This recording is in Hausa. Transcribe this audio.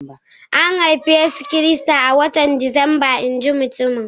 An haifi Yesu Kiristi a watan Disamba, in ji mutumin